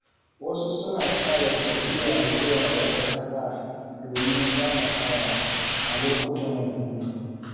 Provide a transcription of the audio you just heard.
Wasu suna tsara tafiya zuwa wata ƙasa domin shakatawa a lokutan hutu.